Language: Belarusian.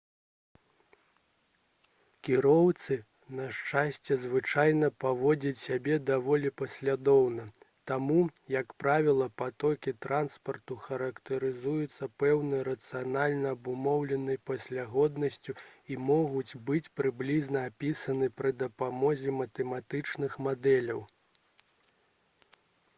кіроўцы на шчасце звычайна паводзяць сябе даволі паслядоўна таму як правіла патокі транспарту характарызуюцца пэўнай рацыянальна абумоўленай паслядоўнасцю і могуць быць прыблізна апісаны пры дапамозе матэматычных мадэляў